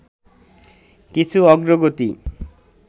কিছু অগ্রগতি